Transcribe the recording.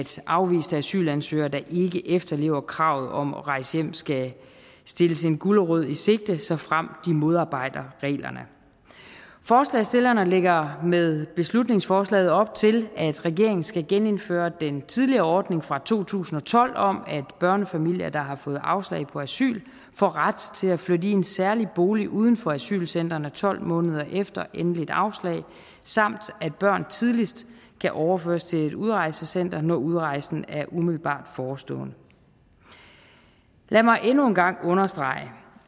afviste asylansøgere der ikke efterlever kravet om at rejse hjem skal stilles en gulerod i sigte såfremt de modarbejder reglerne forslagsstillerne lægger med beslutningsforslaget op til at regeringen skal genindføre den tidligere ordning fra to tusind og tolv om at børnefamilier der har fået afslag på asyl får ret til at flytte i en særlig bolig uden for asylcentrene tolv måneder efter endeligt afslag samt at børn tidligst kan overføres til et udrejsecenter når udrejsen er umiddelbart forestående lad mig endnu en gang understrege